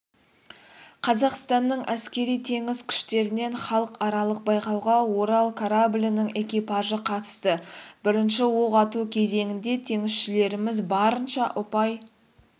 қазақстанның әскери-теңіз күштерінен халықаралық байқауға орал кораблінің экипажы қатысты бірінші оқ ату кезеңінде теңізшілеріміз барынша ұпай